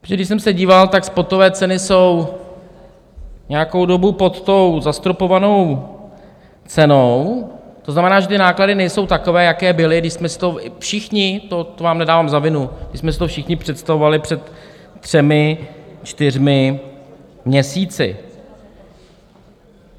Protože když jsem se díval, tak spotové ceny jsou nějakou dobu pod tou zastropovanou cenou, to znamená, že ty náklady nejsou takové, jaké byly, když jsme si to všichni, to vám nedávám za vinu, když jsme si to všichni představovali před třemi čtyřmi měsíci.